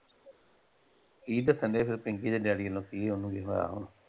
ਕੀ ਦੱਸਣ ਡਏ ਫੇਰ ਪਿੰਕੀ ਦੇ ਡੈਡੀ ਵੱਲੋਂ ਕੀ ਓਹਨੂੰ ਕੀ ਹੋਇਆ ਹੁਣ?